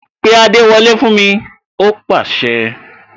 Pé adewole fún mi!, ó pase